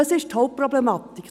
Das ist die Hauptproblematik.